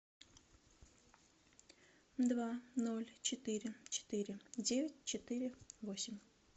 два ноль четыре четыре девять четыре восемь